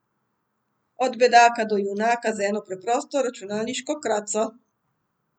Od bedaka do junaka z eno preprosto računalniško kraco.